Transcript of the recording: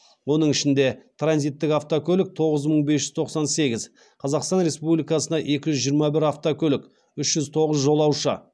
оның ішінде транзиттік автокөлік тоғыз мың бес жүз тоқсан сегіз қазақстан республикасына екі жүз жиырма бір автокөлік үш жүз тоғыз жолаушы